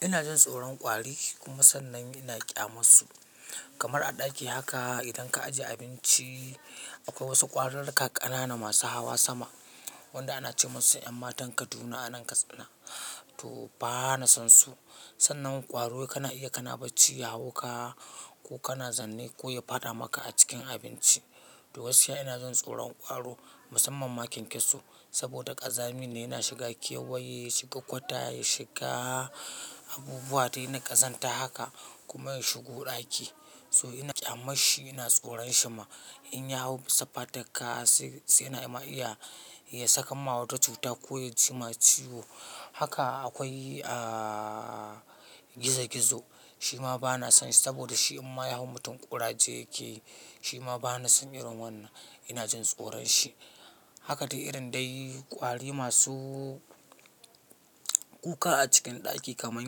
Ina jin tsoron kwari kuma sannan ina ƙyamansu. Kamar a ɗaki haka idan ka ajiye abinci. Akwai wasu ƙwararrakai ƙanana masu hawa sama, wanda ana ce musu ƴan matan Kaduna a nan Katsina to bana son su. Sannan ƙwaro kana iya kana bacci ya hau ka ko kana zaune ko ya fada maka a cikin abinci. To gaskiya ina jin tsoron ƙwaro musamman ma kyankyaso saboda ƙazami ne yana shiga kewaye, shiga kwata, ya shiga abubuwa dai na ƙazanta haka kuma ya shigo ɗaki. So ina ƙyamashi, ina tsoron shi ma in ya hau bisa fatarka sai-sai na ma iya ya sakan ma wata cuta ko ya ci ma ciwo. Haka akwai, aa gizo-gizo shi ma bana son shi saboda shi in ma ya hau mutum ƙuraje yake yi. Shi ma bana son irin wannan, ina jin tsoron shi. Haka dai irin dai kwari masu kuka a cikin ɗaki kamar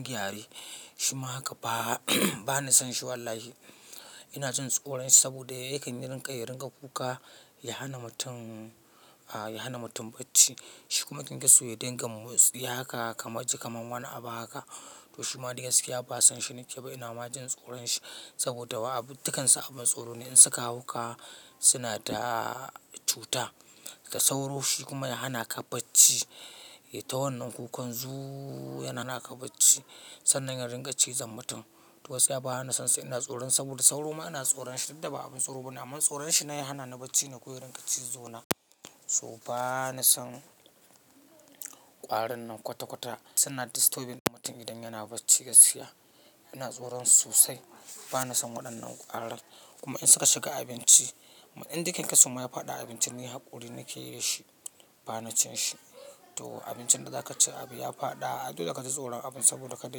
gyare, shi ma haka ba bana son shi wallahi. Ina jin tsoron shi saboda yakan yi rinƙa ya ringa kuka, ya hana mutum, a' ya hana mutum bacci. Shi kuma kyankyaso ya dinga motsi haka kamar ji kamar wani abu haka. To shi ma da gaskiya ba zan shi nake ba ina ma jin tsoron shi saboda wa'a abin, dukansu abin tsoro ne in suka hau ka suna da cuta, su sauro shi kuma yana hana ka bacci. Ya ta wannan kukan zuuu, yana hana ka bacci sannan ya ringa cizon mutum. To gaskiya bana son su ina tsoron su saboda sauro ma ina tsoron shi dan ba abin tsoro bane amma tsoron shi na ya hana ni bacci na ko ya ringa cizo na. To ba na son ƙwarin nan kwata-kwata. Suna disturbing mutum idan yana bacci gaskiya. Ina tsoron su sosai. Bana son waɗannan ƙwarar kuma in suka shiga abinci, indai kyankyaso ma ya fada abinci ni haƙuri nake yi shi, bana cin shi. To abincin da za ka ci abu ya fada, dole ka ji tsoron abin saboda kada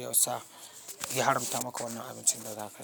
yasa ya haramta maka wannan abincin da za ka ci.